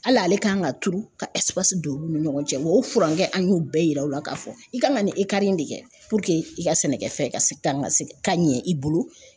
Hali ale kan ka turu ka don olu ni ɲɔgɔn cɛ wa o furancɛ an y'o bɛɛ yira u la k'a fɔ i ka kan ka nin in de kɛ puruke i ka sɛnɛkɛfɛn ka se ka kan ka se ka ɲɛ i bolo